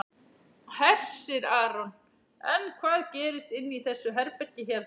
Hersir Aron: En hvað gerist inni í þessu herbergi hérna?